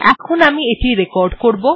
এখন আমি এটি রেকর্ড করবো